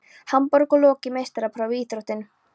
Hamborg og lokið meistaraprófi í íþróttinni.